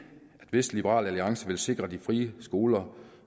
hvis liberal alliance vil sikre de frie skoler